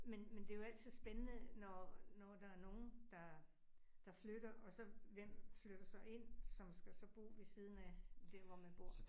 Men men det jo altid spændende når når der er nogen, der der flytter og så, hvem flytter så ind, som skal så bo ved siden af dér, hvor man bor